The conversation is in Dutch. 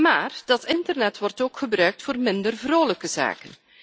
Maar dat internet wordt ook gebruikt voor minder vrolijke zaken.